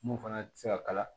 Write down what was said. Mun fana tɛ se ka kala